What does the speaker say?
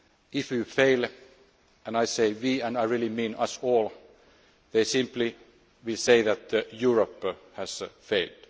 detail. If we fail and I say we and I really mean us all they will simply say that Europe'